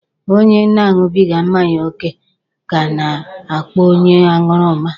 Onye na-aṅụbịga mmanya oke ka a na-akpọ onye aṅụrụma.